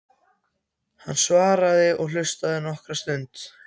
Hann svaraði og hlustaði nokkra stund.